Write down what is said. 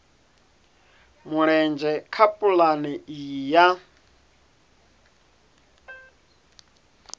mulenzhe kha pulane iyi ya